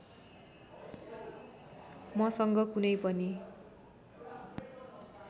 मसँग कुनै पनि